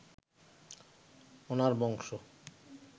ওনার বংশ